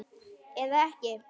Eða ekki?